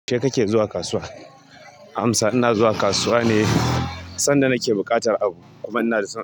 Kai kake zuwa kasuwa? Amsa. Ina zuwa kasuwa ne sanda nake buƙatar abu. Kuma ina da-